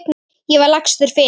Ég var lagstur fyrir.